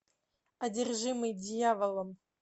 одержимый дьяволом